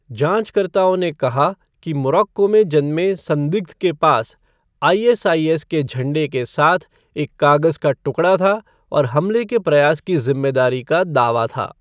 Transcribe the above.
जाँचकर्ताओं ने कहा कि मोरक्को में जन्मे संदिग्ध के पास आईएसआईएस के झंडे के साथ एक कागज़ का टुकड़ा था और हमले के प्रयास की ज़िम्मेदारी का दावा था।